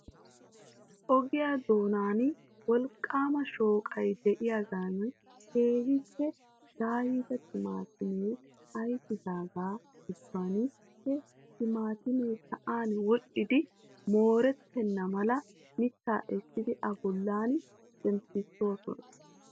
Ogiya doonan wolqqaama shooqay de'iyagan keehippe daayida timaatimee ayfidaagaa gidduwan he timaatimee sa'an wodhdhidi moorettenna mala mittaa essidi A bollan zemppissoosona.